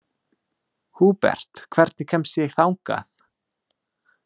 Húbert, hvernig kemst ég þangað?